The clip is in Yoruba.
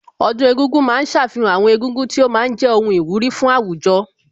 Ọdún egúngún ma ń ṣàfihàn àwọn egúngún tí ó ma ń jẹ́ ohun ìwúrí fún àwùjọ